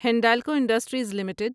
Hindalco industries limited